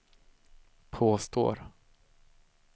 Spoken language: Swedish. påstår